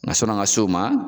sɔn'an ka s'o ma.